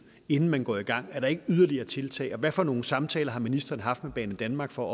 inden man går i gang er der ikke yderligere tiltag og hvad for nogle samtaler har ministeren haft med banedanmark for